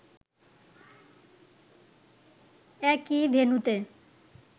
একই ভেন্যুতে